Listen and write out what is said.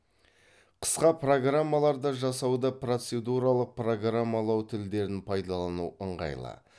қысқа программаларды жасауда процедуралық программалау тілдерін пайдалану ыңғайлы